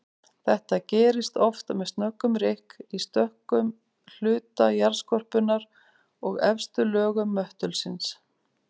Þetta gerist oft með snöggum rykk í stökkum hluta jarðskorpunnar og efstu lögum möttulsins.